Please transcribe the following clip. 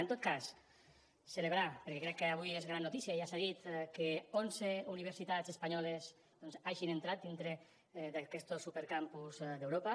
en tot cas celebrar perquè crec que avui és gran notícia ja s’ha dit que onze universitats espanyoles hagin entrat dintre d’aquestos supercampus d’europa